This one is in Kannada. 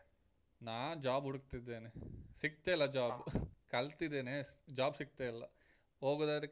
ನಾ job ಹುಡುಕ್ತಿದ್ದೇನೆ ಸಿಗ್ತಾ ಇಲ್ಲ job , ಕಲ್ತಿದ್ದೇನೆ job ಸಿಗ್ತಾ ಇಲ್ಲ, ಹೋಗುದಾದ್ರೆ.